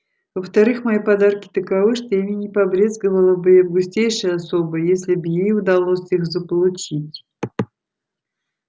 во-вторых мои подарки таковы что ими не побрезговала бы и августейшая особа если бы ей удалось их заполучить